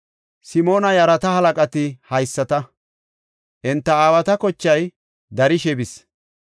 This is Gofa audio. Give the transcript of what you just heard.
Simoona yarata halaqati haysata. Enta aawata kochay darishe bis.